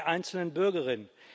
der einzelnen Bürgerin.